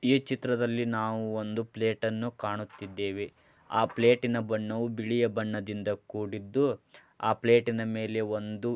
ಈ ಚಿತ್ರದಲ್ಲಿ ನಾವು ಒಂದು ಪ್ಲೇಟನ್ನು ಕಾಣುತ್ತಿದ್ದೇವೆ .ಆ ಪ್ಲೇಟಿನ ಬಣ್ಣವು ಬಣ್ಣದಿಂದ ಕೂಡಿದ್ದು ಆ ಪ್ಲೇಟಿನ ಮೇಲೆ ಒಂದು--